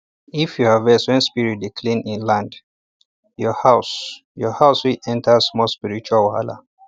if you harvest when spirit dey cleanse land your house your house fit enter small spiritual wahala